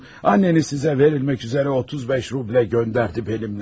Ananız sizə verilmək üçün 35 rubl mənimlə göndərdi.